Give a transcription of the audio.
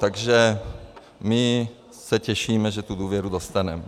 Takže my se těšíme, že tu důvěru dostaneme.